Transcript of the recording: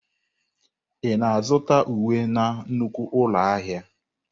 Ị na-azụta uwe na nnukwu ụlọ ahịa?